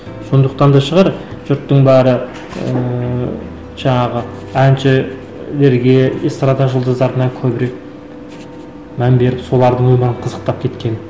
сондықтан да шығар жұрттың бәрі ііі жаңағы әншілерге эстрада жұлдыздарына көбірек мән беріп солардың өмірін қызықтап кеткені